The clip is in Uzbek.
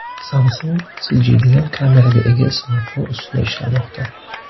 Samsung siljiydigan kameraga ega smartfon ustida ishlamoqda.